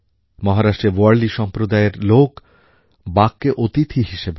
মহারাষ্ট্রের ওয়ার্লি সম্প্রদায়ের লোক বাঘকে অতিথি হিসেবে মানে